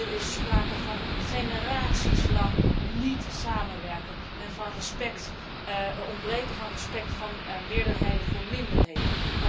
Hier is sprake van generaties lang niet samenwerken en van het ontbreken van respect van meerderheden voor minderheden.